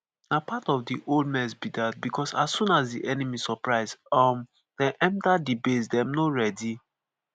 "na part of di whole mess be dat because as soon as di enemy surprise um dem enter di base dem no readi.